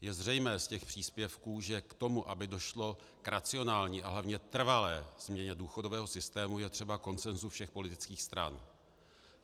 Je zřejmé z těch příspěvků, že k tomu, aby došlo k racionální a hlavně trvalé změně důchodového systému, je třeba konsenzu všech politických stran.